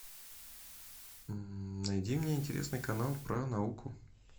найди мне интересный канал про науку